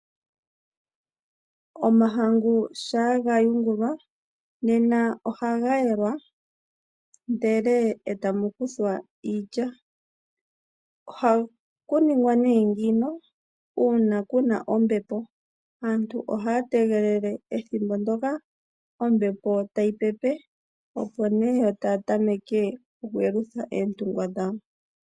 Omahangu shaa gayungulwa nena ohaga yelwa ndele etamu kuthwa iilya. Oha ku ningwa nee ngeyi una kuna ombepo. Aantu ohaya tegelele ethimbo ndoka ombepo tayi pepe opo nee yo taya tameke oku yelutha oontungwa dhawo.